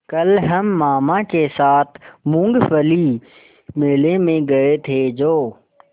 कल हम मामा के साथ मूँगफली मेले में गए थे जो